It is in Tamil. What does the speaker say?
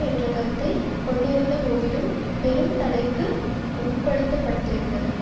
என்ற கருத்தை கொண்டிருந்த போதிலும் பெரும் தடைக்கு உட்படுத்தப்பட்டிருந்தன